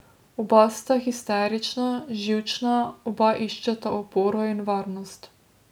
Oba sta histerična, živčna, oba iščeta oporo in varnost.